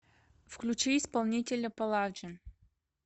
включи исполнителя паладжин